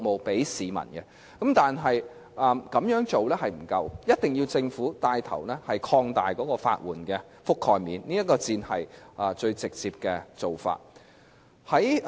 但是，這樣做並不足夠，一定要由政府牽頭擴大法援的覆蓋面，這才是最直接的做法。